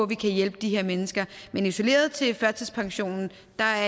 kan hjælpe de her mennesker men isoleret til førtidspensionen